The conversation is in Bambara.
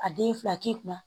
A den fila k'i kunna